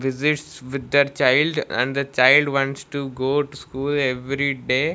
visits with that child and the child wants to go to school every day.